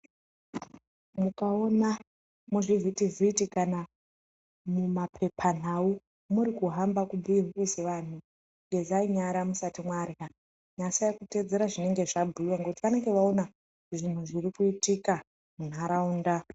Mukaona muzvivhiti vhiti kana mumapepa nhau muri kuhamba kubhuye bhuye sevantu gezai nyara musati marya nasai kuteedzera zvinenge zvabhuyiwa nekuti vanenge vaona zvinhu zviri kuitika munharaunda.